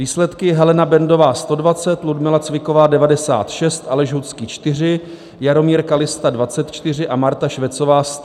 Výsledky: Helena Bendová 120, Ludmila Cviková 96, Aleš Hudský 4, Jaromír Kallista 24 a Marta Švecová 119 hlasů.